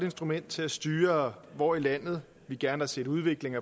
instrument til at styre hvor i landet vi gerne har set udvikling